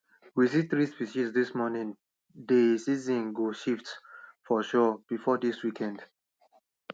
we see three species dis morning dey season go shift for sure before dis week end